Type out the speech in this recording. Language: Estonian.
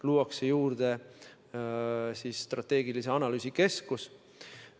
Samuti luuakse strateegilise analüüsi keskus.